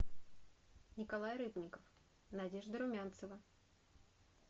николай рыбников надежда румянцева